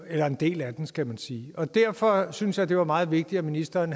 eller en del af den skal man sige derfor synes jeg at det var meget vigtigt at ministeren